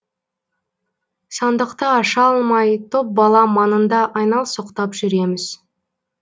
сандықты аша алмай топ бала маңында айналсоқтап жүреміз